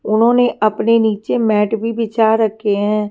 उन्होंने अपने नीचे मैट भी बिछा रखे हैं।